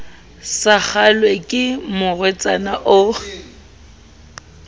sa kgahlwe ke morwetsana o